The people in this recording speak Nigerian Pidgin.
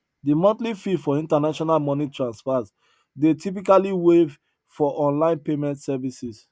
de monthly fee for international money transfers dey typically waive for online payment services